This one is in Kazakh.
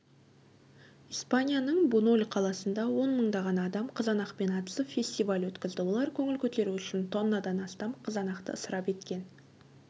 испанияның буньоль қаласында он мыңдаған адам қызанақпен атысып фестиваль өткізді олар көңіл көтеру үшін тоннадан астам қызанақты ысырап еткен